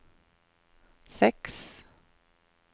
seks